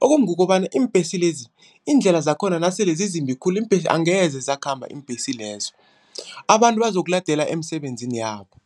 Okumbi kukobana iimbhesi lezi iindlela zakhona nasele zizimbi khulu, iimbhesi angeze zakhamba iimbhesi lezo abantu bazokuladelwa emisebenzini yabo.